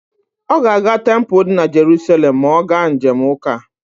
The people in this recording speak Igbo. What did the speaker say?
Ọ ga-aga tempulu di na Jeruselem ma ọ ga njem ụka.